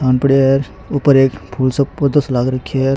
ऊपर एक फूल सो पौधो सो लाग रखे है।